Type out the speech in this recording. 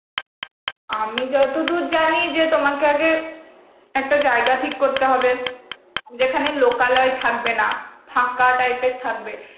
আমি যতদূর জানি যে তোমাকে আগে একটা জায়গা ঠিক করতে হবে যেখানে লোকালয়ে থাকবে না, ফাঁকা type এর থাকবে.